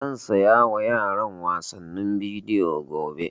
Zan saya wa yaran wasannin bidiyo gobe